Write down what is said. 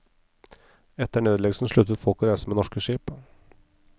Etter nedleggelsen sluttet folk å reise med norske skip.